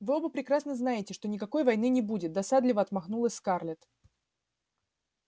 вы оба прекрасно знаете что никакой войны не будет досадливо отмахнулась скарлетт